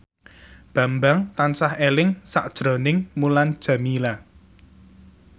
Bambang tansah eling sakjroning Mulan Jameela